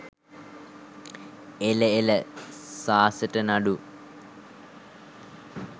එල එල සාසට නඩු